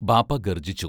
ബാപ്പാ ഗർജിച്ചു.